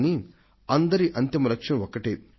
కానీ అందరి అంతిమ లక్ష్యం ఒకటే